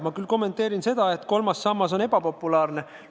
Ma küll kommenteerin seda, et kolmas sammas on ebapopulaarne.